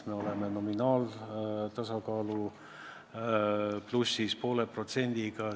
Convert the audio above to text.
Me oleme nominaalse tasakaalu koha pealt poole protsendiga plussis.